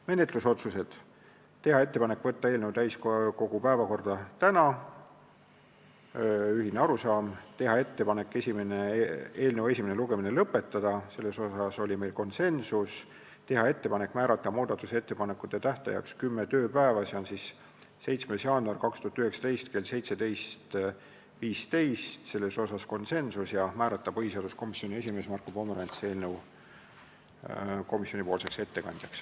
Menetlusotsused: teha ettepanek saata eelnõu täiskogu päevakorda tänaseks , teha ettepanek eelnõu esimene lugemine lõpetada , teha ettepanek määrata muudatusettepanekute esitamise tähtajaks kümme tööpäeva, s.o 7. jaanuar 2019 kell 17.15 ja määrata põhiseaduskomisjoni esimees Marko Pomerants komisjoni ettekandjaks.